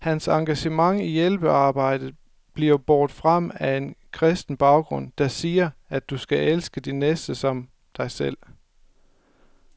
Hans engagement i hjælpearbejdet bliver båret frem af en kristen baggrund, der siger, at du skal elske din næste som dig selv.